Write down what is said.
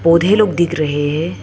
पौधे लोग दिख रहे है।